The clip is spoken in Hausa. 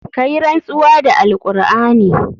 Ka yi rantsuwa da alqur'ani.